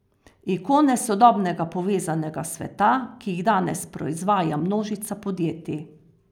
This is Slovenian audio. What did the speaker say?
Ikone sodobnega povezanega sveta, ki jih danes proizvaja množica podjetij.